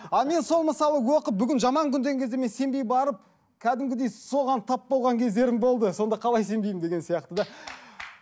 а мен сол мысалы оқып бүгін жаман күн деген кезде мен сенбей барып кәдімгідей соған тап болған кездерім болды сонда қалай сенбеймін деген сияқты да